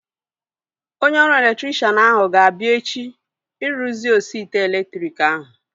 Onye ọrụ elektrikshan ahu ga-abịa echi ịrụzi osi ite elektriki ahu